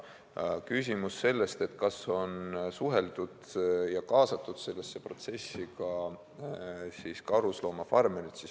Oli küsimus, kas on suheldud ja kaasatud sellesse protsessi ka karusloomafarmerid.